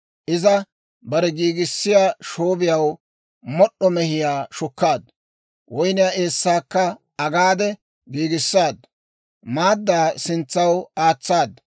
Iza bare giigissiyaa shoobiyaw mod'd'o mehiyaa shukkaaddu; woyniyaa eessaakka agaade giigissaaddu. Maaddaa sintsaw aatsaadu.